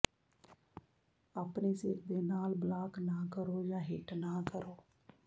ਆਪਣੇ ਸਿਰ ਦੇ ਨਾਲ ਬਲਾਕ ਨਾ ਕਰੋ ਜਾਂ ਹਿੱਟ ਨਾ ਕਰੋ